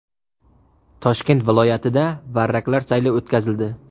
Toshkent viloyatida varraklar sayli o‘tkazildi.